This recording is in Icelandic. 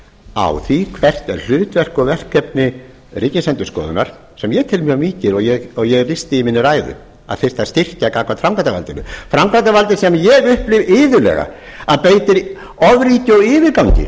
á því hvert er hlutverk og verkefni ríkisendurskoðunar sem ég tel mjög mikil og ég lýsti því í minni ræðu að það þyrfti að styrkja gagnvart framkvæmdarvaldinu framkvæmdarvaldi sem upplifi iðulega að beiti ofríki og yfirgangi